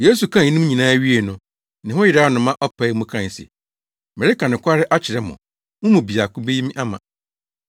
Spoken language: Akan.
Yesu kaa eyinom nyinaa wiei no, ne ho yeraw no ma ɔpaee mu kae se, “Mereka nokware akyerɛ mo, mo mu baako beyi me ama!”